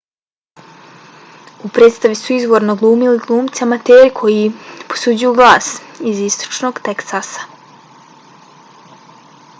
u predstavi su izvorno glumili glumci amateri koji posuđuju glas iz istočnog teksasa